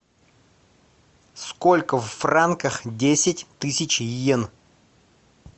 сколько в франках десять тысяч йен